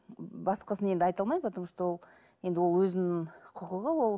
басқасын енді айта алмаймын потому что ол енді ол өзінің құқығы ол